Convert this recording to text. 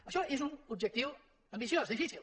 això és un objectiu ambiciós difícil